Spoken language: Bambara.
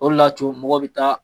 O de la mɔgɔw bɛ taa